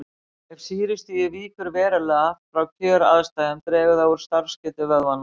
Ef sýrustigið víkur verulega frá kjöraðstæðum dregur það úr starfsgetu vöðvanna.